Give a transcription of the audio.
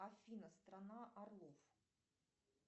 афина страна орлов